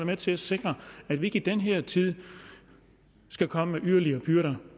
med til at sikre at vi ikke i den her tid skal komme med yderligere byrder